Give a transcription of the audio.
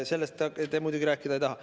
Sellest te muidugi rääkida ei taha.